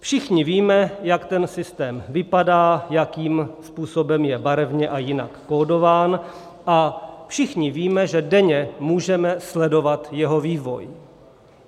Všichni víme, jak ten systém vypadá, jakým způsobem je barevně a jinak kódován, a všichni víme, že denně můžeme sledovat jeho vývoj.